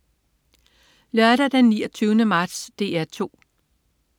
Lørdag den 29. marts - DR 2: